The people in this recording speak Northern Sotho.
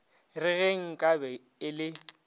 re ge nkabe e le